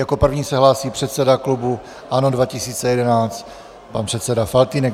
Jako první se hlásí předseda klubu ANO 2011 pan předseda Faltýnek.